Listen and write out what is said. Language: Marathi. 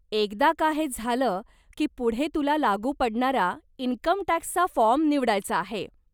एकदा का हे झालं की पुढे तुला लागू पडणारा इन्कमटॅक्सचा फॉर्म निवडायचा आहे.